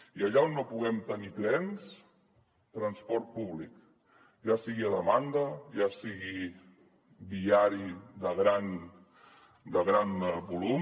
i allà on no puguem tenir trens transport públic ja sigui a demanda ja sigui viari de gran volum